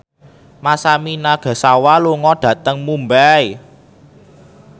Masami Nagasawa lunga dhateng Mumbai